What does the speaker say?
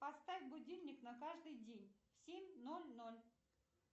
поставь будильник на каждый день в семь ноль ноль